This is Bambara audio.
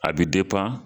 A bɛ